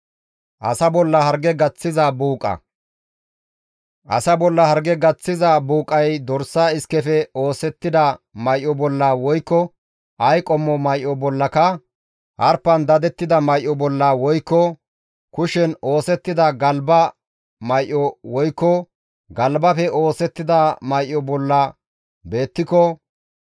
«Asa bolla harge gaththiza buuqay dorsa iskefe oosettida may7o bolla woykko ay qommo may7o bollaka harpan dadettida may7o bolla woykko kushen oosettida galba may7o woykko galbafe oosettida may7o bolla beettiko,